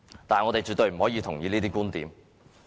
但是，我們絕對不認同這些觀點。